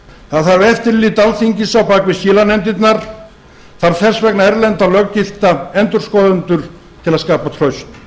það þarf eftirlit alþingis á bak við skilanefndirnar það þarf þess vegna erlenda löggilta endurskoðendur til að skapa traust